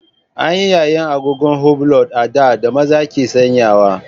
An yi yayin agogon hublot a da da maza ke sanyawa.